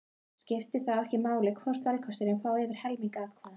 Skiptir þá ekki máli hvort valkostur fái yfir helming atkvæða.